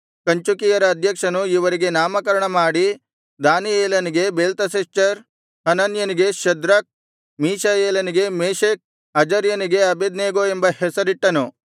ಕಂಚುಕಿಯರ ಅಧ್ಯಕ್ಷನು ಇವರಿಗೆ ನಾಮಕರಣಮಾಡಿ ದಾನಿಯೇಲನಿಗೆ ಬೇಲ್ತೆಶಚ್ಚರ್ ಹನನ್ಯನಿಗೆ ಶದ್ರಕ್ ಮೀಶಾಯೇಲನಿಗೆ ಮೇಶಕ್ ಅಜರ್ಯನಿಗೆ ಅಬೇದ್ನೆಗೋ ಎಂಬ ಹೆಸರಿಟ್ಟನು